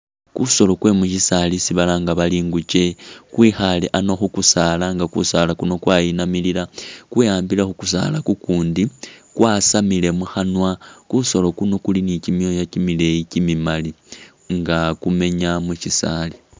Kusolo kwe mushisaali isi balanga bari ingukye kwikhale hano kukusaala nga kusaala kuno kwayinamilila kwehamble kukusaala kukundi kwasamile mukhanwa kusolo kuno kuli ni kyimyoya kyimileyi kyimimali nga kumenya mukyisaali.